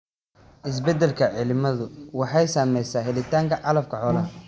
Isbeddelka cimiladu waxay saamaysaa helitaanka calafka xoolaha.